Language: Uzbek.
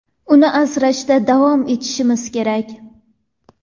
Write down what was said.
uni asrashda davom etishimiz kerak.